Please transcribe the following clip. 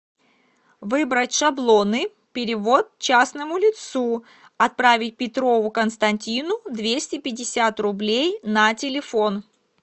выбрать шаблоны перевод частному лицу отправить петрову константину двести пятьдесят рублей на телефон